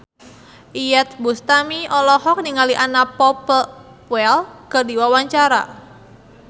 Iyeth Bustami olohok ningali Anna Popplewell keur diwawancara